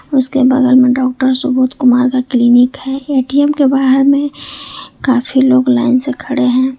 उसके बगल में डॉक्टर सुबोध कुमार का क्लीनिक है ए_टी_एम के बाहर में काफी लोग लाइन से खड़े हैं।